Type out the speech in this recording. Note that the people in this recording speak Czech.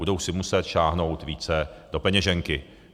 Budou si muset sáhnout více do peněženky.